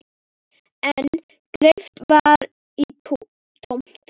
En greip í tómt.